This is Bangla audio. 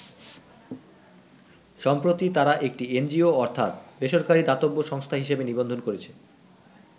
সম্প্রতি তারা একটি এনজিও অর্থাৎ বেসরকারি দাতব্য সংস্থা হিসাবে নিবন্ধন করেছে।